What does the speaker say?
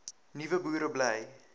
nuwe boere bly